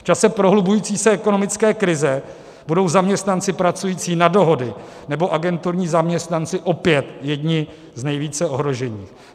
V čase prohlubující se ekonomické krize budou zaměstnanci pracující na dohody nebo agenturní zaměstnanci opět jedni z nejvíce ohrožených.